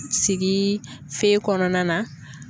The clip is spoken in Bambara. Sigi fe kɔnɔna na.